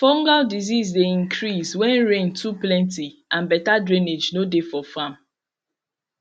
fungal disease dey increase when rain too plenty and better drainage no dey for farm